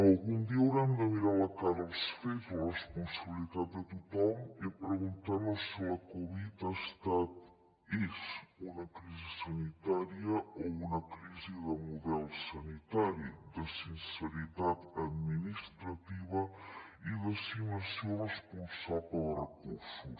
algun dia haurem de mirar a la cara els fets la responsabilitat de tothom i preguntar nos si la covid ha estat és una crisi sanitària o una crisi de model sanitari de sinceritat administrativa i d’assignació responsable de recursos